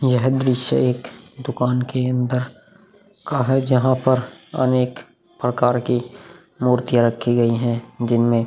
यह दृश्य एक दुकान के अंदर का है जहाँ पर अनेक पकार की मूर्तिया रखी गई हैं जिनमे --